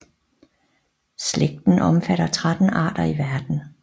Slægten omfatter 13 arter i verden